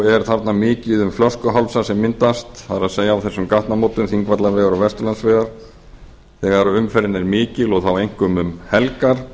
er mikið um flöskuhálsa sem myndast á þessum gatnamótum þingvallavegar og vesturlandsvegar þegar umferðin er mikil þá einkum um helgar